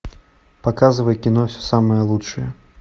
показывай кино все самое лучшее